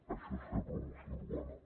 això és fer promoció urbana